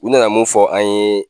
U nana mun fɔ an ye